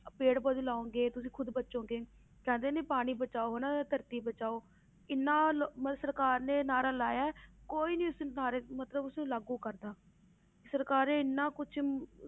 ਪੇੜ ਪੌਦੇ ਲਾਓਗੇ ਤੁਸੀਂ ਖੁੱਦ ਬਚੋਗੇ, ਕਹਿੰਦੇ ਨੀ ਪਾਣੀ ਬਚਾਓ ਹਨਾ ਧਰਤੀ ਬਚਾਓ ਇੰਨਾ ਲੋ~ ਮਤਲਬ ਸਰਕਾਰ ਨੇ ਨਾਰਾ ਲਾਇਆ ਹੈ ਕੋਈ ਨੀ ਉਸ ਨਾਰੇ ਮਤਲਬ ਉਸਨੂੰ ਲਾਗੂ ਕਰਦਾ ਸਰਕਾਰ ਨੇ ਇੰਨਾ ਕੁਛ